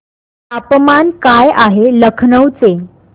तापमान काय आहे लखनौ चे